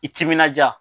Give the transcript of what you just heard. I timinandiya